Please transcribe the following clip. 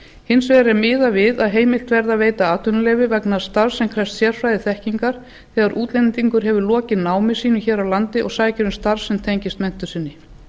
hins vegar er miðað við að heimilt verði að veita atvinnuleyfi vegna starfs sem krefst sérfræðiþekkingar þegar útlendingur hefur lokið námi sínu hér á landi og sækir um starf sem tengist menntun sinni